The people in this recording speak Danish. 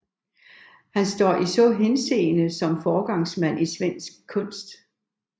Han står i så henseende som foregangsmand i svensk kunst